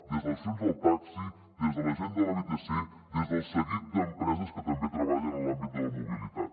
des de les associacions del taxi des de la gent de la vtc des del seguit d’empreses que també treballen en l’àmbit de la mobilitat